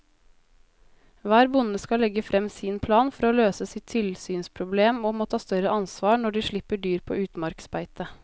Hver bonde skal legge frem sin plan for å løse sitt tilsynsproblem og må ta større ansvar når de slipper dyr på utmarksbeite.